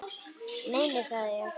Nei, nei, sagði ég.